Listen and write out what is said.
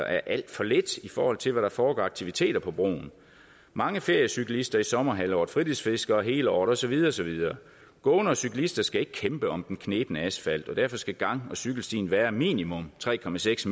er alt for lidt i forhold til hvad der foregår af aktiviteter på broen mange feriecyklister i sommerhalvåret fritidsfiskere hele året og så videre og så videre gående og cyklister skal ikke kæmpe om den knebne asfalt og derfor skal gang og cykelstien være minimum tre